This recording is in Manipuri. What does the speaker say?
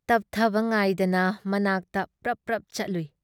ꯇꯞꯊꯕ ꯉꯥꯏꯗꯅ ꯃꯅꯥꯛꯇ ꯄ꯭ꯔꯞ ꯄ꯭ꯔꯞ ꯆꯠꯂꯨꯏ ꯫